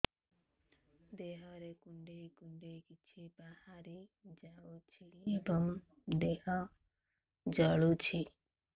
ଦେହରେ କୁଣ୍ଡେଇ କୁଣ୍ଡେଇ କିଛି ବାହାରି ଯାଉଛି ଏବଂ ଦେହ ଜଳୁଛି